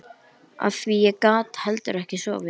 Af því ég gat heldur ekki sofið